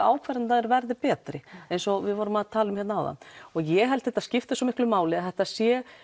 ákvarðanirnar betri eins og við vorum að tala um hérna áðan ég held að þetta skipti svo miklu máli að þetta sé